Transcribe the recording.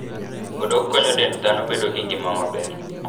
Odok konyo dend dhano bedo gi ngima maber.